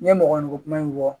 N ye mɔgɔninfin kuma in fɔ